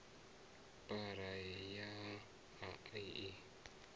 phara ya a a i